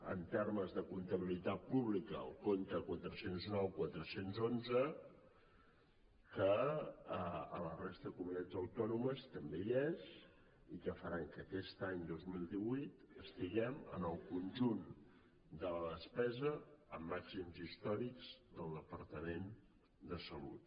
en termes de comptabilitat pública el compte quatre cents i nou quatre cents i onze que a la resta de comunitats autònomes també hi és i que farà que aquest any dos mil divuit estiguem en el conjunt de la despesa amb màxims històrics del departament de salut